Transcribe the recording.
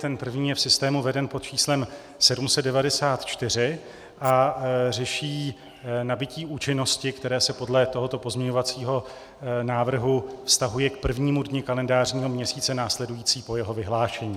Ten první je v systému veden pod číslem 794 a řeší nabytí účinnosti, které se podle tohoto pozměňovacího návrhu vztahuje k prvnímu dni kalendářního měsíce následujícího po jeho vyhlášení.